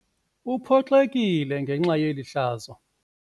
Uphoxekile ngenxa yeli hlazo.